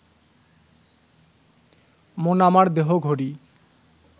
মন আমার দেহ ঘড়ি